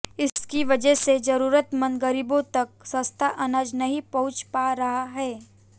इसकी वजह से जरूरतमंद गरीबों तक सस्ता अनाज नहीं पहुंच पा रहा है